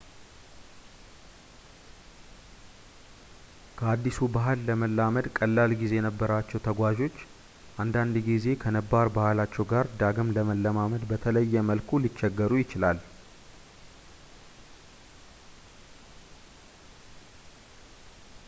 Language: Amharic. ከአዲሱ ባህል ለመላመድ ቀላል ጊዜ የነበራቸው ተጓዞች አንዳንድ ጊዜ ከነባር ባህላቸው ጋር ዳግም ለመለማመድ በተለየ መልኩ ሊቸገሩ ይችላል